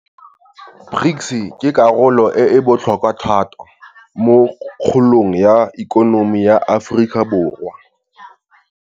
BRICS ke karolo e e botlhokwa thata mo kgolong ya ikonomi ya Aforika Borwa.